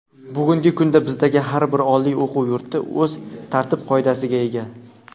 Bugungi kunda bizdagi har bir oliy o‘quv yurti o‘z tartib-qoidasiga ega.